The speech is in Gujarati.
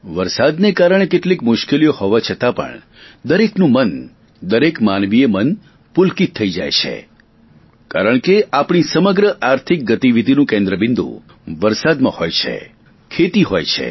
વરસાદના કારણે કેટલીક મુશ્કેલીઓ હોવા છતા પણ દરેકનું મન દરેક માનવીય મન પુલકિત થઈ જાય છે કારણ કે આપણી સમગ્ર આર્થિક ગતિવિધિનું કેન્દ્ર બિંદુ વરસાદમાં હોય છે ખેતી હોય છે